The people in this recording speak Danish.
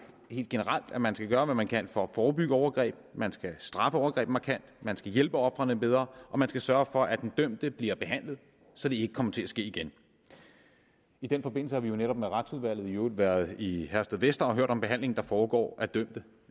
helt generelt at man skal gøre hvad man kan for at forebygge overgreb man skal straffe overgreb markant man skal hjælpe ofrene bedre og man skal sørge for at den dømte bliver behandlet så det ikke kommer til at ske igen i den forbindelse har vi netop med retsudvalget været i herstedvester og hørt om behandlingen der foregår af dømte